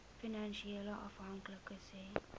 finansiële afhanklikes hê